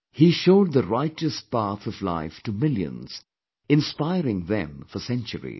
He showed the righteous path of life to millions, inspiring them for centuries